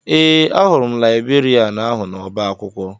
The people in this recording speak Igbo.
Ee, ahụrụ m laịbrerịan ahụ n'ọba akwụkwọ